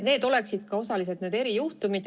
Need oleksid osaliselt need erijuhtumid.